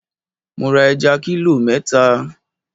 Mo ra ẹja kílò mẹ́ta.